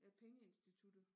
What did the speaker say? Ja pengeinstituttet